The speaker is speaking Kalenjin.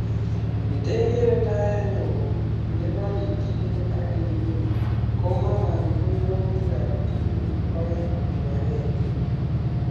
Ndegere ndaret ne woo ne korikyingee ak ne ming'in ko mara ko yautikab tuguk aeng kibagenge